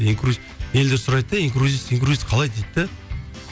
елдер сұрайды да инкрузес инкрузес қалай дейді де